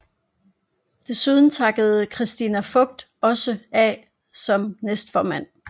Desuden takkede Christina Voigt også af som næstformand